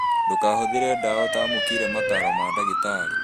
Ndũkahũthĩre ndawa ũtamũkĩire mataro ma ndagĩtarĩ